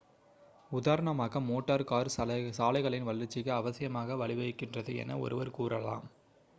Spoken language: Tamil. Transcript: உதாரணமாக மோட்டார் கார் சாலைகளின் வளர்ச்சிக்கு அவசியமாக வழிவகுக்கின்றது என ஒருவர் கூறலாம்